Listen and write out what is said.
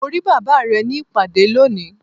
Mo ri baba rẹ ni ipade loni